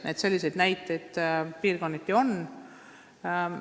Nii et selliseid näiteid piirkonniti on.